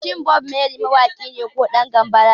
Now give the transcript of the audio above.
Shin Bob Marley mawaki ne ko ɗan gambara ne?